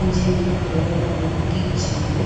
enjenge bhola lokukujima.